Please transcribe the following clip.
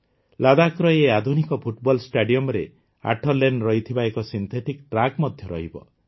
ଲଦାଖର ଏହି ଆଧୁନିକ ଫୁଟବଲ ଷ୍ଟାଡିଅମରେ ୮ ଲେନ୍ ରହିଥିବା ଏକ ସିନ୍ଥେଟିକ୍ ଟ୍ରାକ୍ ମଧ୍ୟ ରହିବ